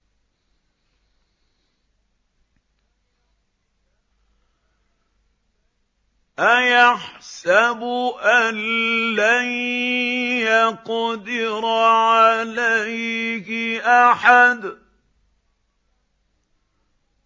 أَيَحْسَبُ أَن لَّن يَقْدِرَ عَلَيْهِ أَحَدٌ